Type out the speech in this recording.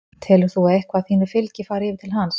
Telur þú að eitthvað af þínu fylgi fari yfir til hans?